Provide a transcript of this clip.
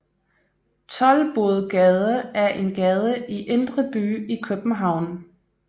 Toldbodgade er en gade i Indre By i København